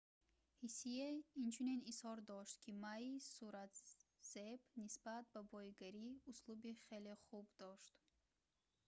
ҳсие инчунин изҳор дошт ки maи суратзеб нисбат ба боигарӣ услуби хеле хуб дошт